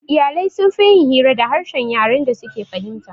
Iyalai sunfi yin hira da harshen yaren da suke fahimta